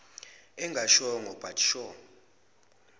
engashongo but sure